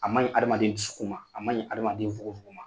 A man ɲi adamaden dusukun ma , a man ɲi adamaden nfogonfogon ma.